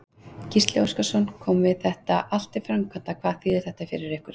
Gísli Óskarsson: Komi þetta allt til framkvæmda, hvað þýðir þetta fyrir ykkur?